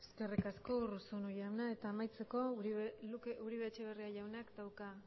gabe eskerrik asko eskerrik asko urruzuno jauna eta amaitzeko uribe etxebarriak jaunak dauka